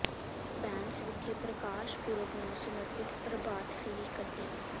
ਬੈਂਸ ਵਿਖੇ ਪ੍ਰਕਾਸ਼ ਪੁਰਬ ਨੂੰ ਸਮਰਪਿਤ ਪ੍ਰਭਾਤ ਫੇਰੀ ਕੱਢੀ